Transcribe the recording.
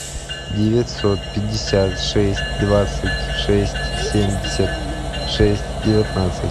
девятьсот пятьдесят шесть двадцать шесть семьдесят шесть девятнадцать